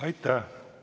Aitäh!